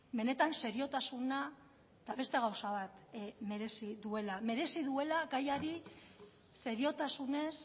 benetan seriotasuna eta beste gauza bat merezi duela merezi duela gaiari seriotasunez